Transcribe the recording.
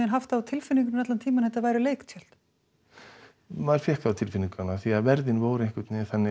haft það á tilfinningunni að þetta væru leiktjöld já maður fékk það á tilfinninguna af því að verðin voru einhvern veginn þannig